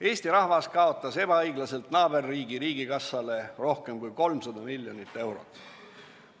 Eesti rahvas kaotas ebaõiglaselt naaberriigi riigikassale rohkem kui 300 miljonit eurot.